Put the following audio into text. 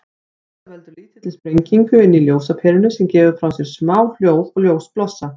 Þetta veldur lítilli sprengingu inni í ljósaperunni, sem gefur frá sér smá hljóð og ljósblossa.